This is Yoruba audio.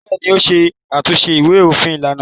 Bẹ́ẹ̀ ni, ó ṣe àtúnṣe ìwé-òfin lánàá.